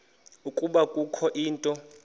ukuba kukho into